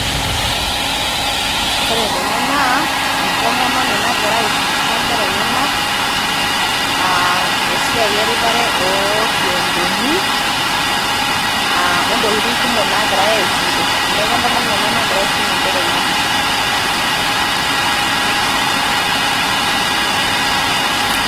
Kore tene naa entomononi nagira aifundisha nkera enyenak aa esiai eripare orkiodoni a o ntokitin kumok nagirai aisum te sukuul. Neeku entomononi ena nagira aisum nkera enyenak.